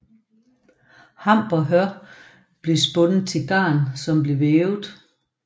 Hamp og hør blev spundet til garn som blev vævet